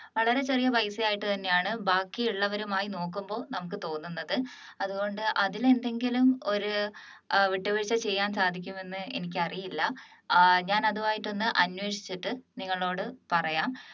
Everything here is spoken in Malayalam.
വളരെ ചെറിയ പൈസയായിട്ട് തന്നെയാണ് ബാക്കിയുള്ളവരുമായി നോക്കുമ്പോൾ നമുക്ക് തോന്നുന്നത് അതുകൊണ്ട് അതിൽ എന്തെങ്കിലും ഒരു വിട്ടുവീഴ്ച ചെയ്യാൻ സാധിക്കുമെന്നു എനിക്കറിയില്ല ആഹ് ഞാൻ അതുമായിട്ട് ഒന്ന് അന്വേഷിച്ചിട്ട് നിങ്ങളോട് പറയാം